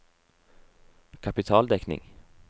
kapitaldekning